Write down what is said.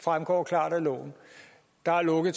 fremgår klart af loven der er lukket